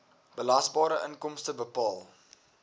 belasbare inkomste bepaal